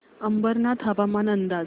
अंबरनाथ हवामान अंदाज